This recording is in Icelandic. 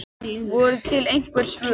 Voru til einhver svör?